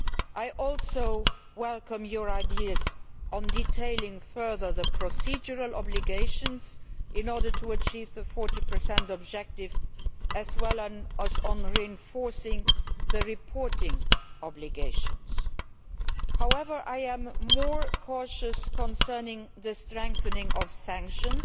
I also welcome your ideas on detailing further the procedural obligations in order to achieve the 40 objective as well as on reinforcing the reporting obligations. However, I am more cautious concerning the strengthening of sanctions